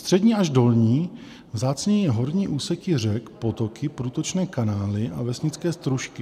Střední až dolní, vzácněji horní úseky řek, potoky, průtočné kanály a vesnické stružky.